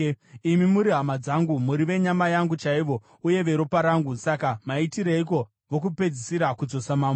Imi muri hama dzangu, muri venyama yangu chaivo uye veropa rangu. Saka maitireiko vokupedzisira kudzosa mambo?’